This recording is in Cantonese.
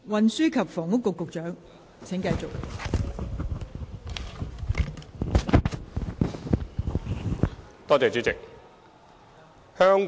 運輸及房屋局局長，請繼續作答。